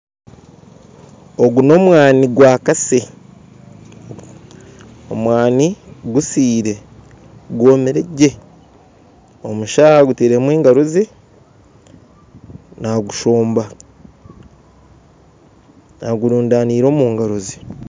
Ogu n'omwani gwa Kase omwani gusiire gwomire gye omusha agutairemu engaro ze nagushomba agurundanaire omungaro ze.